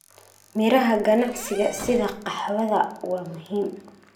Midhaha ganacsiga sida qaxwada waa muhiim.